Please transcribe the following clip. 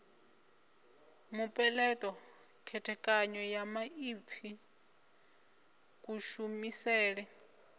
mupeleṱo khethekanyo ya maipfi kushumisele